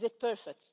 Is it perfect?